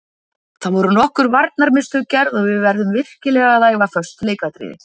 Það voru nokkur varnarmistök gerð og við verðum virkilega að æfa föst leikatriði.